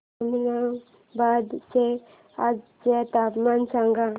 ममनाबाद चे आजचे तापमान सांग